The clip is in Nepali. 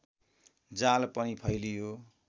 जाल पनि फैलियो